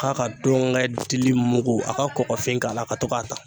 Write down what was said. K'a ka ndɔnkɛ dili mugu, a ka kɔkɔfin k'a la ka to ka ta.